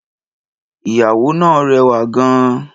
Ìyàwó náà rẹwà gan-an.